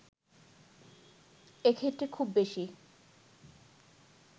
এক্ষেত্রে খুব বেশি